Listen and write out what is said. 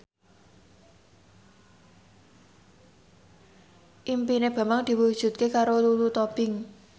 impine Bambang diwujudke karo Lulu Tobing